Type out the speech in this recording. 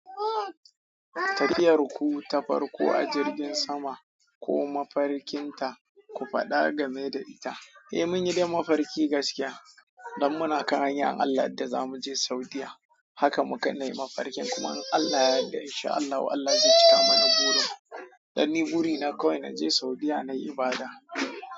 Tafiyar ku ta farko a jirgin sama ko mafarkin ta, ku faɗa game da ita. Eh mun yi dai mafarki gaskiya don muna kan hanyar in Allah ya yad da za mu je Saudiyya. Haka muka nai mafarkin kuma in Allah yadda in sha Allahu Allah zai cika mana burin. Dan ni buri na kawai na je Saudiyya nayi ibada.